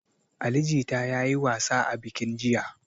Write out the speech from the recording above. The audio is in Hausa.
Ali jita ya yi wasa a bikin jiya.